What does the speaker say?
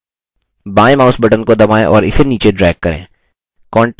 बायेंmouse button को दबाएँ और इसे नीचे drag करें